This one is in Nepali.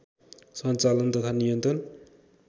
सञ्चालन तथा नियन्त्रण